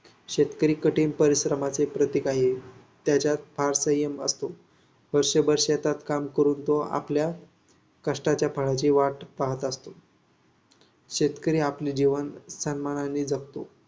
शेतकरी कठीण परिश्रमाचे प्रतीक आहे. त्याच्यात फार संयम असतो. वर्षभर शेतात काम करून तो आपल्या कष्टाच्या फळाची वाट पाहत असतो. शेतकरी आपले जीवन सन्माने जगतो.